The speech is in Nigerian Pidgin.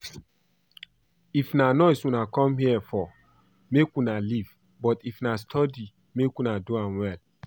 If na noise una come here for make una leave but if na to study make we do am well